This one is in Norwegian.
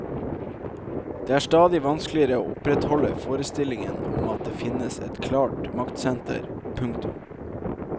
Det er stadig vanskeligere å opprettholde forestillingen om at det finnes et klart maktsenter. punktum